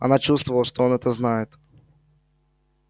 она чувствовала что он это знает